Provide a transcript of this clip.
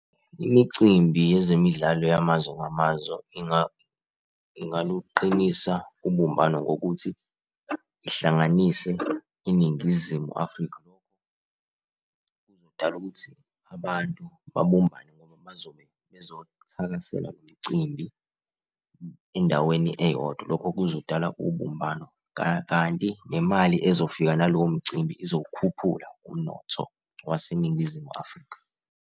Imicimbi yezemidlalo yamazwe ngamazwe, ingaluqinisa ubumbano ngokuthi ihlanganise iNingizimu Afrika. Lokho Kuzodala ukuthi abantu babumbane ngoba bazobe bezothakasela lo mcimbi endaweni eyodwa. Lokho kuzodala ubumbano. Kanti nemali ezofika nalowo mcimbi izowukhuphula umnotho waseNingizimu Afrika.